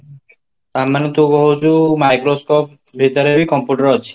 ଆମେ ମାନେତ କହୁଛି microscope ଭିତରେବି computer ଅଛି